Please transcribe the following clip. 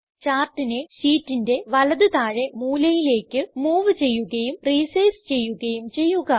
ചാർട്ടിനെ ഷീറ്റിന്റെ വലത് താഴെ മൂലയിലേക്ക് മൂവ് ചെയ്യുകയും റിസൈസ് ചെയ്യുകയും ചെയ്യുക